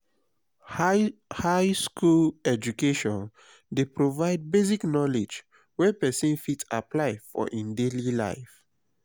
high high school education de provide basic knowledge wey persin fit apply for in daily life